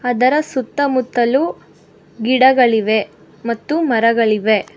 ಇದರ ಸುತ್ತಮುತ್ತಲು ಗಿಡಗಳಿವೆ ಮತ್ತು ಮರಗಳಿವೆ.